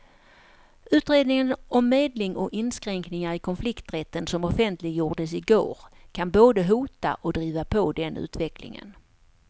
Utredningen om medling och inskränkningar i konflikträtten som offentliggjordes i går kan både hota och driva på den utvecklingen.